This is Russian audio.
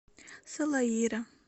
салаира